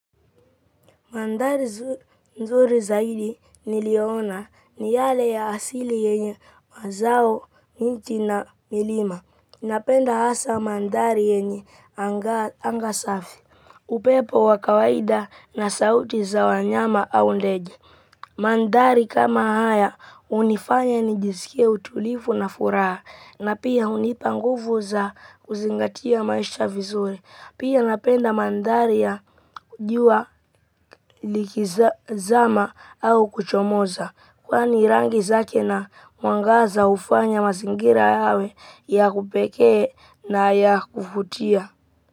Mandhari nzuri zaidi niliyoona ni yale ya asili yenye mazao, nchi na milima. Napenda hasa mandhari yenye anga safi. Upepo wa kawaida na sauti za wanyama au ndege. Mandhari kama haya hunifanya nijisikie utulivu na furaha na pia hunipa nguvu za kuzingatia maisha vizuri. Pia napenda mandhari ya jua likizama au kuchomoza kwani rangi zake na mwangaza hufanya mazingira yawe ya kupekee na ya kuvutia.